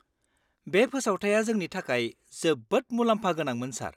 -बे फोसावथाइआ जोंनि थाखाय जोबोद मुलाम्फागोनांमोन, सार।